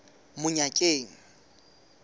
monyakeng